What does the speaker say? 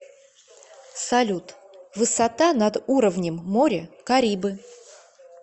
салют высота над уровнем моря карибы